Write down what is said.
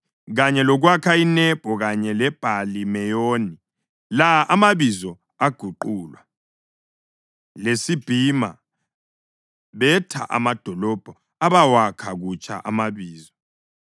kanye lokwakha iNebho kanye leBhali-Meyoni (la amabizo aguqulwa) leSibhima. Betha amadolobho abawakha kutsha amabizo.